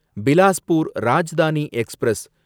Bilaspur Rajdhani express